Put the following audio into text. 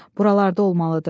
Buralarda olmalıdır.